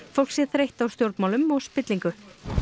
fólk sé þreytt á stjórnmálum og spillingu